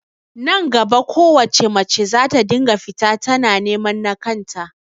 Nan gaba kowace mace zata dinga fita tana neman nakan ta